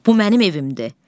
Bu mənim evimdir.